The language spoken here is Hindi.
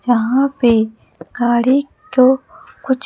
जहां पे गाड़ी तो कुछ--